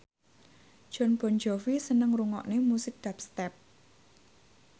Jon Bon Jovi seneng ngrungokne musik dubstep